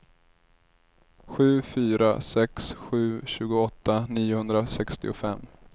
sju fyra sex sju tjugoåtta niohundrasextiofem